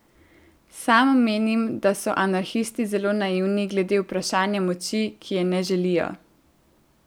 Sam menim, da so anarhisti zelo naivni glede vprašanja moči, ki je ne želijo.